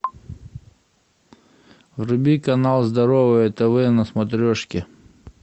вруби канал здоровое тв на смотрешке